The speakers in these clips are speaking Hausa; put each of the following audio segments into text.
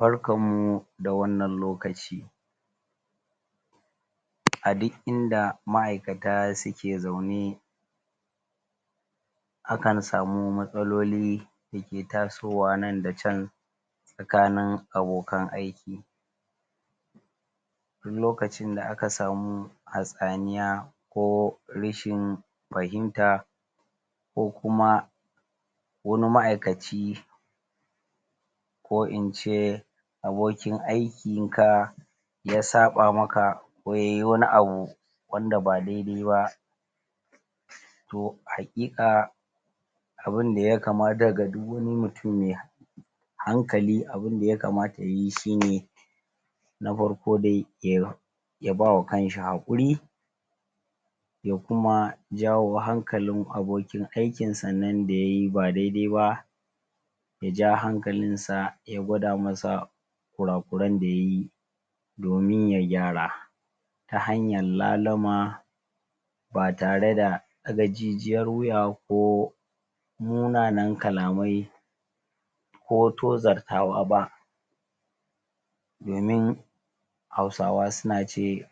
Barkanmu da wannan lokaci! A duk inda ma'aikata suke zaune akanm samu matsaloli da ke tasowa nan da can tsakanin abokan aiki duk lokacin da aka samu hatsaniya ko rashin fahimta ko kuma wani ma'aikaci ko in ce abokin aikinka ya saɓa maka ko ya yi wani abu wanda ba daidai ba to haƙiƙa abin da ya kamata da du wani mutum mai hankali abin da ya kamata ya yi shi ne na farko dai ya ba wa kan shi haƙuri. Ya kuma jawo hankalin abokin aikinsan nan da ya yi ba daidai ba ya ja hankalinsa, ya gwada masa kura-kuran da ya yi domin ya gyara ta hanyar laluma ba tare da ɗaga jijiyar wuya ko munanan kalamai ko tozartawa ba. Domin Hausawa suna ce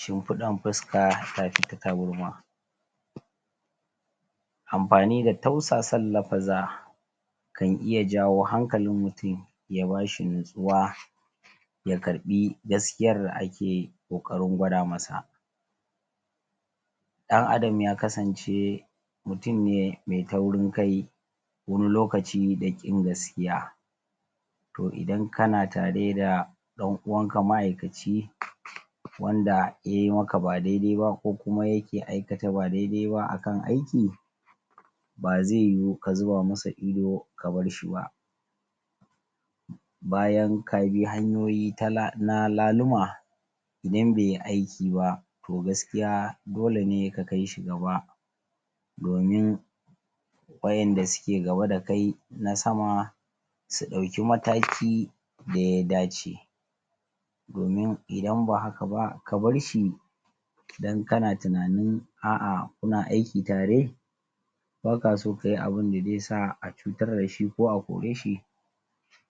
shimfiɗan fuska ta fi ta tabarma. Amfani da tausasan lafuzza kan iya jawo hankalin mutum, ya ba shi natsuwa, ya karɓi gaskiyar da ake ƙoƙrin gwada masa Ɗan'adam ya kasance mutum ne mai taurin kai, wani lokaci da ƙin gaskiya To, idan kan tare da ɗan'uwanka ma'aikaci wanda ya yi maka ba daidai ba ko kuma yake aikata ba daidai ba kan aiki ba zai yiwu ka zuba masa ido ka bar shi ba bayan ka bi hanyoyi ta na laluma idan bai yi aiki ba to gaskiya dole ne ka kai shi gaba domi waɗanda suke gaba da kai na sama su ɗauki mataki da ya dace domin idan ba haka ba, ka bar shi don kana tunanin, a'a, kuna aiki tare ba ka so a yi abun da zai sa a cutar da shi ko a kore shi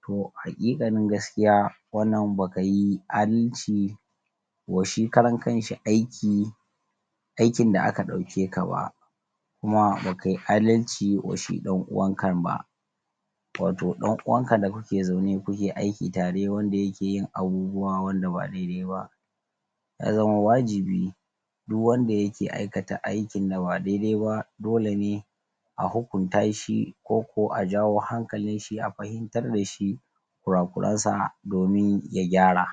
to a haƙiƙanin gaskiya wannan ba ka yi adalci wa shi karan kanshi aiki, aikin da aka ɗauke ka ba, kuma ba ka yi adalci wa shi ɗan'uwankan ba. Wato ɗan'uwanka da kuke zaune kuke aiki tare wanda yake yin abubuwa wanda ba daidai ba Ya zama wajibi duk wanda yake aikata aikin da ba daidai ba dole ne a hukunta shi koko a jawo hankalin shi, a fahimtar da shi kura-kuransa domin ya gyara.